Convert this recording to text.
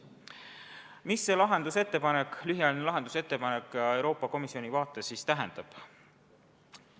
Mida see Euroopa Komisjoni lühiajalise lahenduse ettepanek siis tähendab?